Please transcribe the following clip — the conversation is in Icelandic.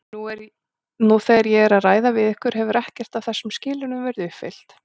Nú þegar ég er að ræða við ykkur hefur ekkert af þessum skilyrðum verið uppfyllt.